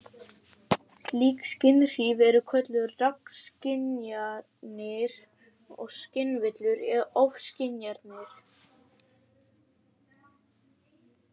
Slík skynhrif eru kölluð rangskynjanir og skynvillur eða ofskynjanir.